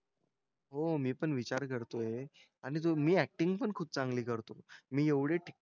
हो मी पण विचार करतोय आणि जो मी ऍक्टिंग पण खूप चांगली करतो. मी एवढी,